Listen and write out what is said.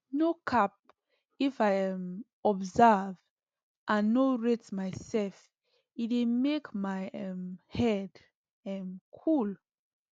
no cap if i um observe and nor rate myself e dey make my um head um cool